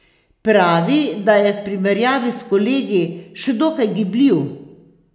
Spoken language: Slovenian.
Pravi, da je v primerjavi s kolegi še dokaj gibljiv.